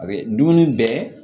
A bɛ dumuni bɛɛ